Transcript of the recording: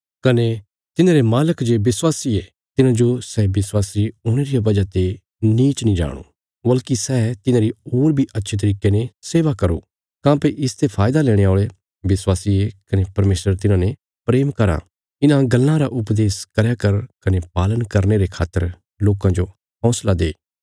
कने तिन्हांरे मालक जे विश्वासी ये तिन्हांजो सै विश्वासी हुणे रिया वजह ते नीच नीं जाणो वल्कि सै तिन्हांरी होर बी अच्छे तरिके ने सेवा करो काँह्भई इसते फायदा लेणे औल़े विश्वासी ये कने परमेशर तिन्हांने प्रेम कराँ इन्हां गल्लां रा उपदेश करया कर कने पालन करने रे खातर लोकां जो हौंसला दे